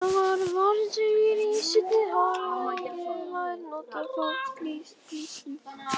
Þetta var varnarsigur í seinni hálfleik ef maður notar þá klisju.